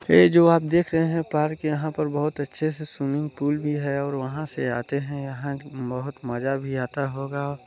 ये जो आप देख रहे हैं पार्क यहाँ पर बहुत अच्छे से स्विमिंग पूला भी है और वहाँ से आते हैं यहाँ बहुत मजा भी आता होगा।